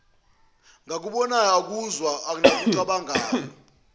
ngakubonayo akuzwayo nakucabangayo